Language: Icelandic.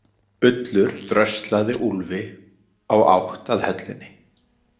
Ullur dröslaði Úlfi á átt að höllinni.